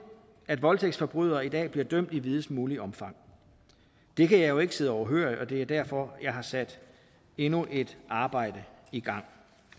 at voldtægtsforbrydere i dag bliver dømt i videst muligt omfang det kan jeg jo ikke sidde overhørig og det er derfor jeg har sat endnu et arbejde i gang